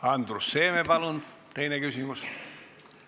Andrus Seeme, palun teine küsimus!